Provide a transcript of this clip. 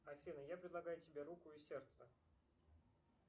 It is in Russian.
афина я предлагаю тебе руку и сердце